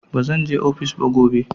Bazan je ofis gobe ba.